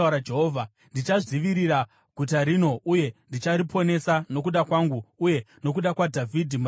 Ndichadzivirira guta rino uye ndichariponesa, nokuda kwangu uye nokuda kwaDhavhidhi muranda wangu.’ ”